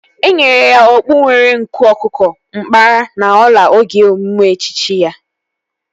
Enyere ya okpu nwere nku ọkụkọ, nkpara na ọla oge emume echichi ya